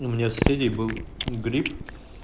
у меня соседей был грипп